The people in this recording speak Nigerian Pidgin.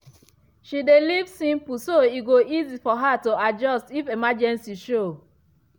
she dey live simple so e go easy for her to adjust if emergency show.